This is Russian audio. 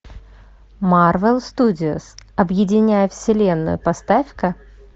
марвел студиос объединяя вселенную поставь ка